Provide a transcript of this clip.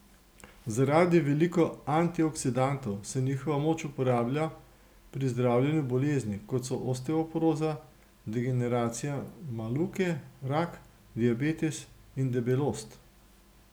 Zaradi veliko antioksidantov se njihova moč uporablja pri zdravljenju bolezni, kot so osteoporoza, degeneracija makule, rak, diabetes in debelost.